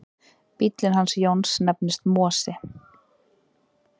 Bíllinn hans Jóns nefnist Mosi.